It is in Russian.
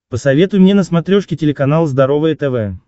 посоветуй мне на смотрешке телеканал здоровое тв